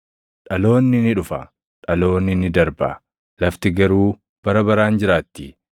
Dhaloonni ni dhufa; dhaloonni ni darba; lafti garuu bara baraan jiraatti.